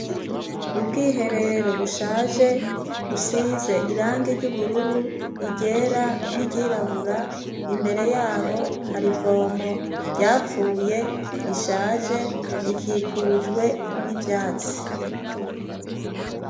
Ubwihe rero bushaje busize irangi ry'ubururu igera n'iryirabura imbere yaho harivomo ryapfuye rishaje rikikujwe n'ivyatsi.